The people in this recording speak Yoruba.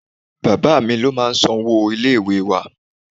Bàbáà mi ló máa ń san owó ilé ìwée wá.